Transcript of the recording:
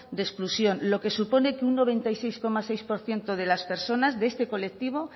de exclusión lo que supone que un noventa y seis coma seis por ciento de las personas de este colectivo